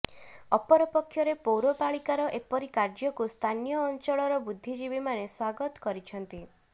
ଅପରପକ୍ଷରେ ପୌରପାଳିକାର ଏପରି କାର୍ଯ୍ୟକୁ ସ୍ଥାନୀୟ ଅଞ୍ଚଳର ବୁଦ୍ଧିଜୀବୀମାନେ ସ୍ୱାଗତ କରିଛନ୍ତି